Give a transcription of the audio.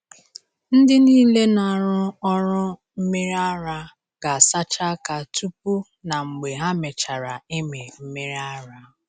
Ndị niile na-arụ ọrụ mmiri ara ga-asacha aka tupu na mgbe ha mechara ịmị mmiri ara.